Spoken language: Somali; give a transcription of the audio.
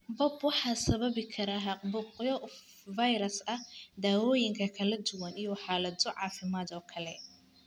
BOOP waxa sababi kara caabuqyo fayras ah, daawooyin kala duwan, iyo xaalado caafimaad oo kale.